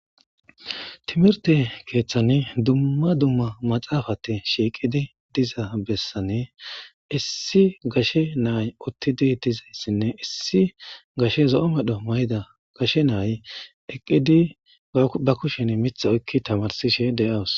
Timirte kethani dumma dumma maxafati shiiqidi diza besani issi gashe nay utidi dizaysanne issi gashe zo' mayo mayiza gashe nay eqidi woyikko ba kusheni mita oyiki tamarisishe dawus.